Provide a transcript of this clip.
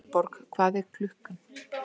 Vilborg, hvað er klukkan?